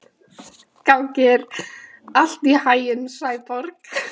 Gangi þér allt í haginn, Sæborg.